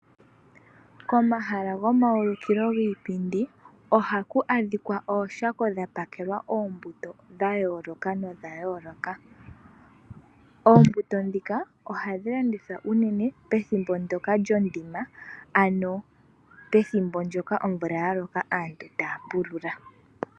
Komahala gomaulikilo giipindi ohaku adhikwa ooshako dhapakelwa oombuto dhayooloka nodhayooloka. Oombuto ndhika ohadhi landithwa unene pethimbo ndyoka lyoondima, ano pethimbo ndyoka omvula yaloka aantu taya pulula.